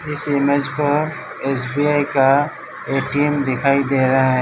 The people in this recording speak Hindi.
इस इमेज पर एसबीआई का एटीएम दिखाई दे रहा है।